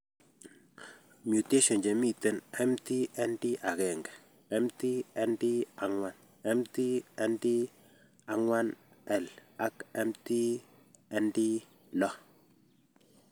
Mutations chemiten MT ND1, MT ND4, MT ND4L ag MT ND6